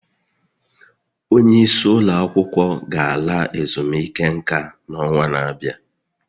Onye isi ụlọ akwụkwọ ga-ala ezumike nka n'ọnwa na-abịa